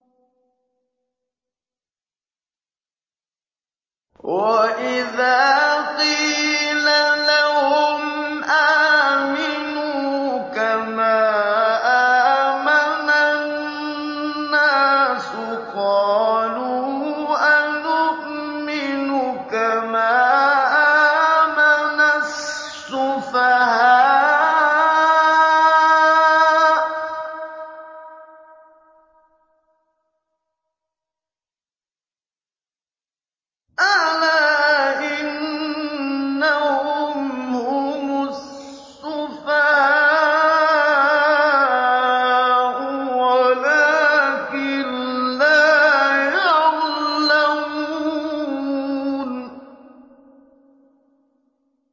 وَإِذَا قِيلَ لَهُمْ آمِنُوا كَمَا آمَنَ النَّاسُ قَالُوا أَنُؤْمِنُ كَمَا آمَنَ السُّفَهَاءُ ۗ أَلَا إِنَّهُمْ هُمُ السُّفَهَاءُ وَلَٰكِن لَّا يَعْلَمُونَ